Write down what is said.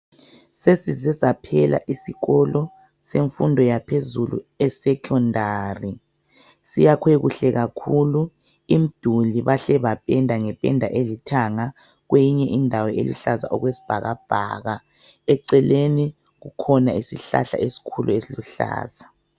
Sesize saphela isikolo semfundo yaphezulu esecondary , siyakhwe kuhle kakhulu , imduli bahle bapenda ngependa elithanga kweyinye indawo eluhlaza okwesibhakabhaka eceleni kukhona isihlahla ekhulu esiluhlaza